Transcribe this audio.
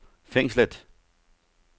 fængslet